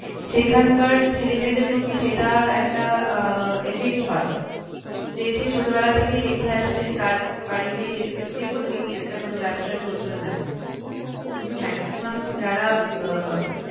সেখানকার ছেলে মেয়েদের প্রতি সেটা একটা আহ effect হয় যে সে ছোট বেলা থেকেই দেখে আসছে তার বাড়িতে যেকোনোই একটা কোনো ব্যাবসার প্রচলন আছে কিন্তু maximum যারা আহ